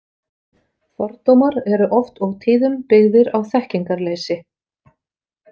Fordómar eru oft og tíðum byggðir á þekkingarleysi.